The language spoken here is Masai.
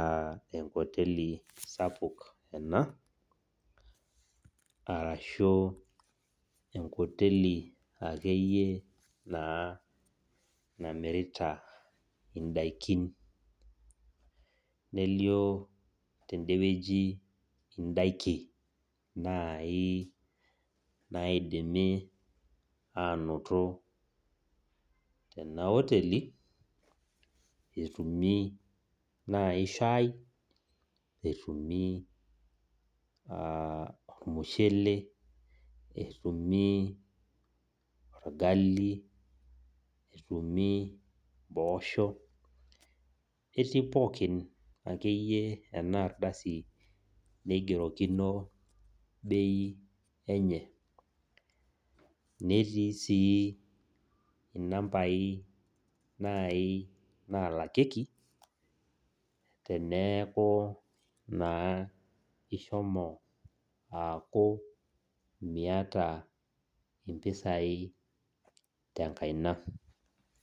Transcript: ah enkoteli sapuk ena, arashu enkoteli akeyie naa namirita idaikin. Nelio tedewueji idaikin nai naidimi anoto tena oteli, etumi nai shai, etumi ormushele, etumi orgali, etumi impoosho, ketii pookin akeyie enardasi neigerokino bei enye. Netii si inambai nai nalakieki, teneeku naa ishomo aaku miata impisai tenkaina.